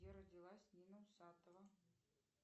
где родилась нина усатова